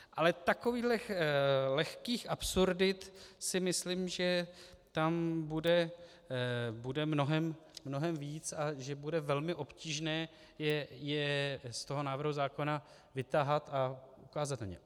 Ale takovýchhle lehkých absurdit si myslím, že tam bude mnohem víc a že bude velmi obtížné je z toho návrhu zákona vytahat a ukázat na ně.